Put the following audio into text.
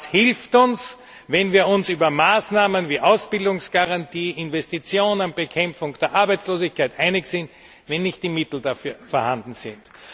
Was hilft es uns, wenn wir uns über Maßnahmen wie Ausbildungsgarantie, Investitionen, Bekämpfung der Arbeitslosigkeit einig sind, wenn nicht die Mittel dafür vorhanden sind.